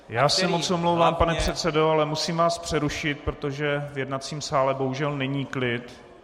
Já se moc omlouvám, pane předsedo, ale musím vás přerušit, protože v jednacím sále bohužel není klid.